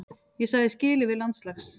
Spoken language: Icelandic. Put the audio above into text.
Ég sagði skilið við landslags